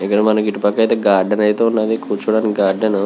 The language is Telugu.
ఇక్కడ మనకి ఇటు పక్క ఐతే గార్డెన్ ఐతే ఉన్నది కూర్చోటానికి గార్డెన్ ను.